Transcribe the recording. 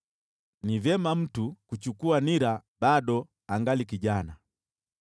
Ni vyema mtu kuchukua nira bado angali kijana.